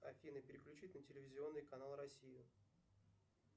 афина переключить на телевизионный канал россию